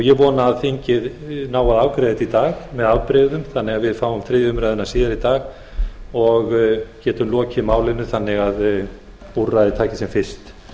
ég vona að þingið nái að afgreiða þetta í dag með afbrigðum þannig að við fáum þriðju umræðu síðar í dag og getum lokið málinu svo að úrræðin taki sem fyrst